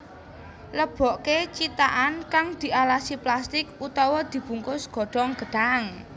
Lebokké cithakan kang dialasi plastik utawa dibungkus godhong gedhang